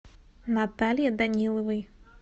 наталье даниловой